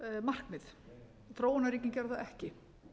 markmið þróunarríkin gerðu það ekki